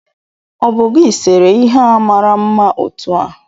O bu gi sere ihe a mara mma otu a?